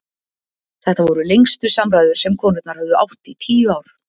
Þetta voru lengstu samræður sem konurnar höfðu átt í tíu ár.